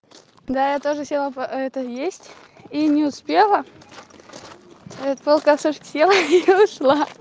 да я тоже села это есть и не успела только сушки села и ушла